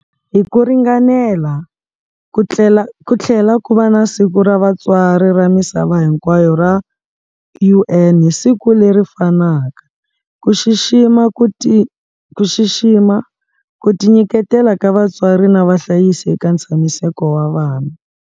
Hi ku ringanela, ku tlhela ku va Siku ra Vatswari ra Misava Hinkwayo ra UN hi siku leri fanaka, ku xixima ku tinyiketela ka vatswari na vahlayisi eka ntshamiseko wa vana.